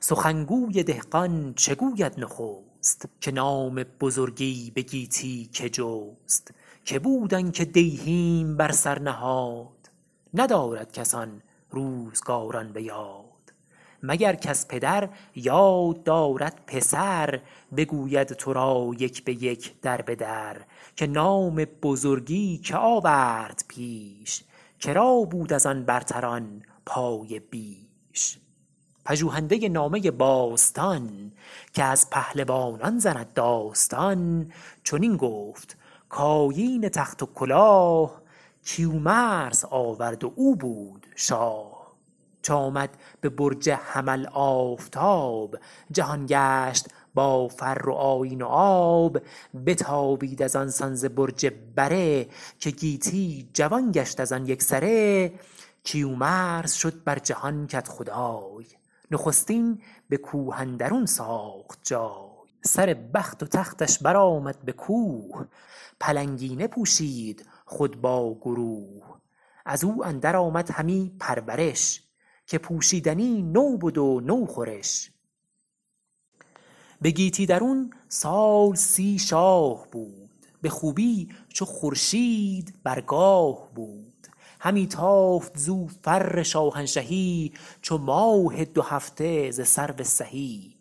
سخن گوی دهقان چه گوید نخست که نام بزرگی به گیتی که جست که بود آن که دیهیم بر سر نهاد ندارد کس آن روزگاران به یاد مگر کز پدر یاد دارد پسر بگوید تو را یک به یک در به در که نام بزرگی که آورد پیش که را بود از آن برتران پایه بیش پژوهنده نامه باستان که از پهلوانان زند داستان چنین گفت کآیین تخت و کلاه کیومرث آورد و او بود شاه چو آمد به برج حمل آفتاب جهان گشت با فر و آیین و آب بتابید از آن سان ز برج بره که گیتی جوان گشت از آن یک سره کیومرث شد بر جهان کدخدای نخستین به کوه اندرون ساخت جای سر بخت و تختش بر آمد به کوه پلنگینه پوشید خود با گروه از او اندر آمد همی پرورش که پوشیدنی نو بد و نو خورش به گیتی درون سال سی شاه بود به خوبی چو خورشید بر گاه بود همی تافت زو فر شاهنشهی چو ماه دو هفته ز سرو سهی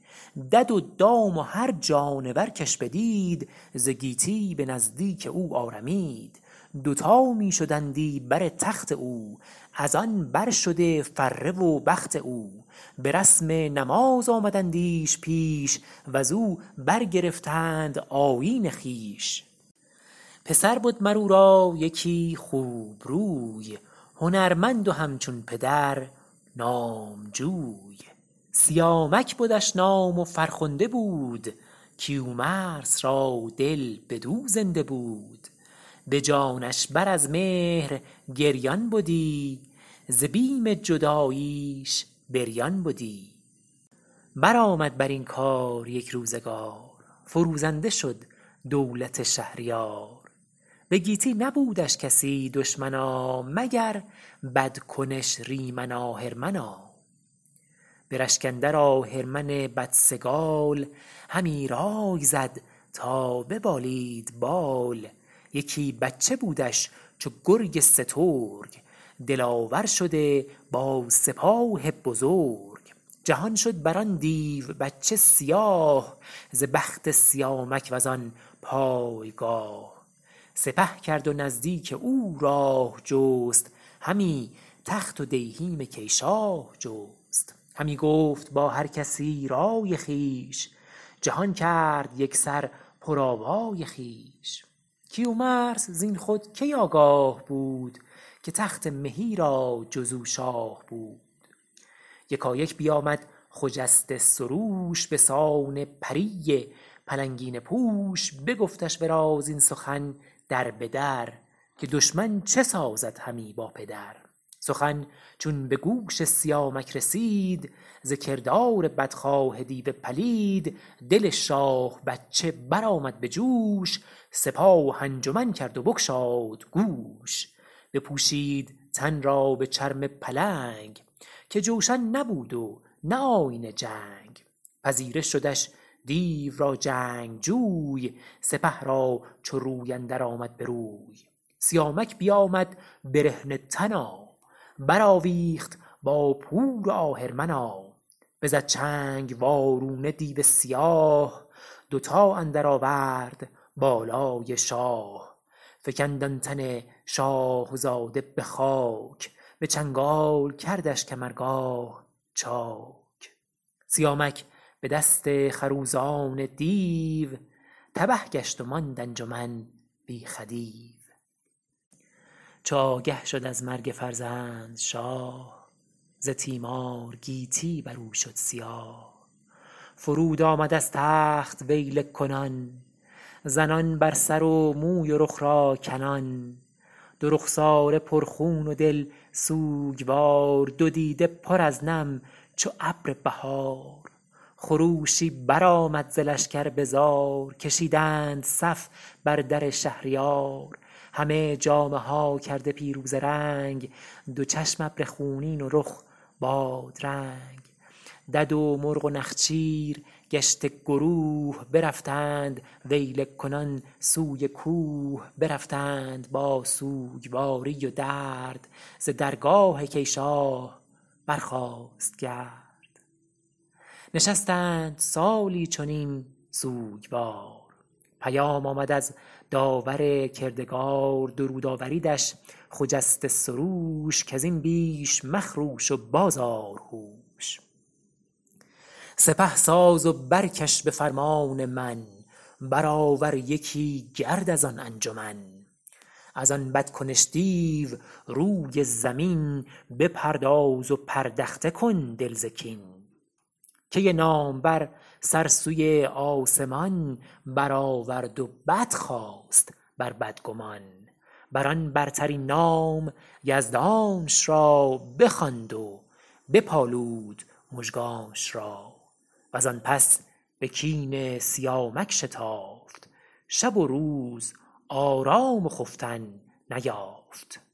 دد و دام و هر جانور کش بدید ز گیتی به نزدیک او آرمید دوتا می شدندی بر تخت او از آن بر شده فره و بخت او به رسم نماز آمدندیش پیش و ز او برگرفتند آیین خویش پسر بد مر او را یکی خوب روی هنرمند و همچون پدر نامجوی سیامک بدش نام و فرخنده بود کیومرث را دل بدو زنده بود به جانش بر از مهر گریان بدی ز بیم جداییش بریان بدی بر آمد بر این کار یک روزگار فروزنده شد دولت شهریار به گیتی نبودش کسی دشمنا مگر بدکنش ریمن آهرمنا به رشک اندر آهرمن بدسگال همی رای زد تا ببالید بال یکی بچه بودش چو گرگ سترگ دلاور شده با سپاه بزرگ جهان شد بر آن دیو بچه سیاه ز بخت سیامک و زان پایگاه سپه کرد و نزدیک او راه جست همی تخت و دیهیم کی شاه جست همی گفت با هر کسی رای خویش جهان کرد یک سر پر آوای خویش کیومرث زین خود کی آگاه بود که تخت مهی را جز او شاه بود یکایک بیامد خجسته سروش به سان پری پلنگینه پوش بگفتش ورا زین سخن در به در که دشمن چه سازد همی با پدر سخن چون به گوش سیامک رسید ز کردار بدخواه دیو پلید دل شاه بچه بر آمد به جوش سپاه انجمن کرد و بگشاد گوش بپوشید تن را به چرم پلنگ که جوشن نبود و نه آیین جنگ پذیره شدش دیو را جنگجوی سپه را چو روی اندر آمد به روی سیامک بیامد برهنه تنا بر آویخت با پور آهرمنا بزد چنگ وارونه دیو سیاه دوتا اندر آورد بالای شاه فکند آن تن شاهزاده به خاک به چنگال کردش کمرگاه چاک سیامک به دست خروزان دیو تبه گشت و ماند انجمن بی خدیو چو آگه شد از مرگ فرزند شاه ز تیمار گیتی بر او شد سیاه فرود آمد از تخت ویله کنان زنان بر سر و موی و رخ را کنان دو رخساره پر خون و دل سوگوار دو دیده پر از نم چو ابر بهار خروشی بر آمد ز لشکر به زار کشیدند صف بر در شهریار همه جامه ها کرده پیروزه رنگ دو چشم ابر خونین و رخ بادرنگ دد و مرغ و نخچیر گشته گروه برفتند ویله کنان سوی کوه برفتند با سوگواری و درد ز درگاه کی شاه برخاست گرد نشستند سالی چنین سوگوار پیام آمد از داور کردگار درود آوریدش خجسته سروش کز این بیش مخروش و باز آر هوش سپه ساز و برکش به فرمان من بر آور یکی گرد از آن انجمن از آن بد کنش دیو روی زمین بپرداز و پردخته کن دل ز کین کی نامور سر سوی آسمان بر آورد و بدخواست بر بدگمان بر آن برترین نام یزدانش را بخواند و بپالود مژگانش را و زان پس به کین سیامک شتافت شب و روز آرام و خفتن نیافت